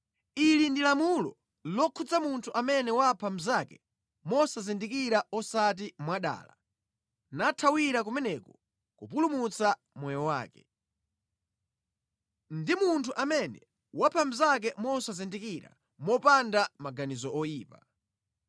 Ili ndi lamulo lokhudza munthu amene wapha mnzake mosazindikira osati mwadala, nathawira kumeneko kupulumutsa moyo wake. Ndi munthu amene wapha mnzake mosazindikira, popanda maganizo oyipa.